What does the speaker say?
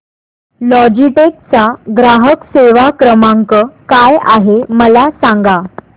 Logitech चा ग्राहक सेवा क्रमांक काय आहे मला सांगा